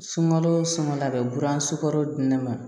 Sunkalo sunkala bɛ buran sokɔrɔ di ne ma